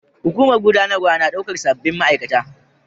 Hukumar gudanarwa na daukar sabbin ma'aikata